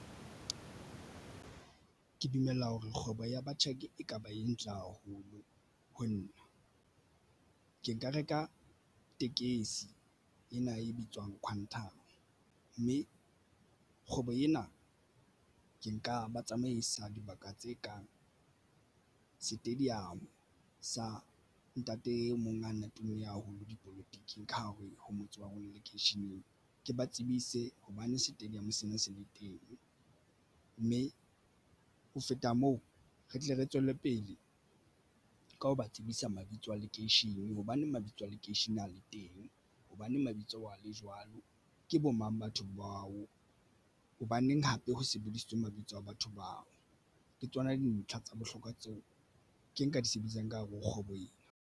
Ke dumela hore kgwebo ya batjhaki ekaba e ntle haholo ho nna, ke nka reka tekesi ena e bitswang Quantum mme kgwebo ena ke nka ba tsamaisa dibaka tse kang stadium sa ntate e mong ana tumme haholo dipolotiking ka hare ho motse wa rona lekeisheneng ke ba tsebise hobane stadium sena se le teng, mme ho feta moo re tle re tswelle pele ka ho ba tsebisa mabitso a lekeishene hobane mabitso a lekeisheneng le teng hobane mabitso a le jwalo, ke bo mang batho bao hobaneng hape ho sebedisitswe mabitso a batho bao ke tsona? Dintlha tsa bohlokwa tseo ke nka di sebedisang ka hare ho kgwebo ena.